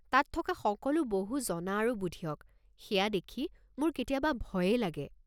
তাত থকা সকলো বহু জনা আৰু বুধিয়ক, সেয়া দেখি মোৰ কেতিয়াবা ভয়েই লাগে।